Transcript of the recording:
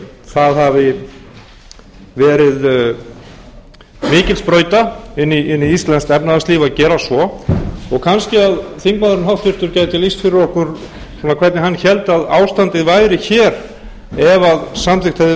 það hafi verið mikil sprauta inn í íslenskt efnahagslíf að gera svo og kannski að háttvirtur þingmaður gæti lýst fyrir okkur hvernig hann héldi að ástandið væri hér ef samþykkt hefði verið að